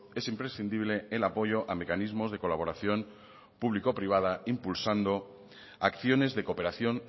es imprescindible el apoyo a mecanismos de colaboración público privada impulsando acciones de cooperación